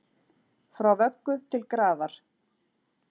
Frá vöggu til grafar